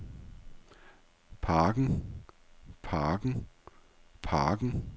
parken parken parken